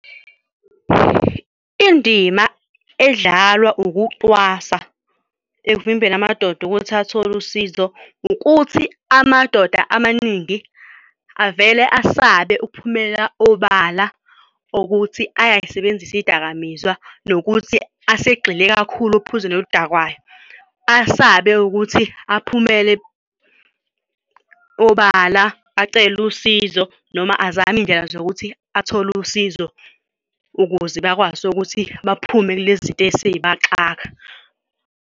Indima edlalwa ukucwasa evimbela amadoda ukuthi athole usizo ukuthi amadoda amaningi avele asabe ukuphumelela obala ukuthi ayayisebenzisa iy'dakamizwa nokuthi asegxile kakhulu ophuzweni oludakayo. Asabe ukuthi aphumele obala acele usizo noma azame iy'ndlela zokuthi athole usizo ukuze bakwazi ukuthi baphume kulezi zinto esey'baxaka.